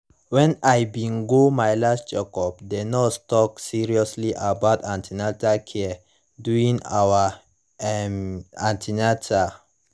when i bin go my last checkup the nurse talk seriously about an ten atal care during our um an ten atal